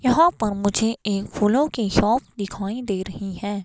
यहां पर मुझे एक फूलों की शॉप दिखाई दे रही है।